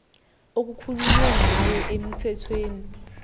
okukhulunywe ngayo emthethweni